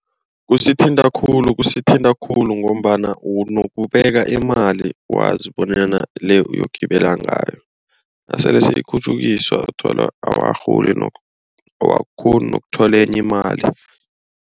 Kusithinta khulu kusithinta khulu ngombana unokubeka imali wazi bonyana le uyogibela ngayo. Nasele seyikhutjhukiswa uthola awukarholi nokurhola. Awukakghoni nokuthola enye imali.